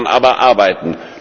Daran muss man aber arbeiten.